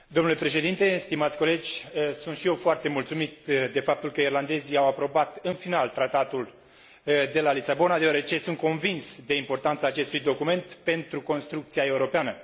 Domnule președinte, stimați colegi, sunt și eu foarte mulțumit de faptul că irlandezii au aprobat în final Tratatul de la Lisabona, deoarece sunt convins de importanța acestui document pentru construcția europeană.